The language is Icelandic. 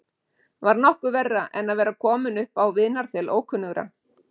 Var nokkuð verra en að vera kominn upp á vinarþel ókunnugra?